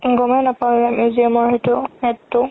গ'মে নাপাও museum ৰ সেইটো AD তো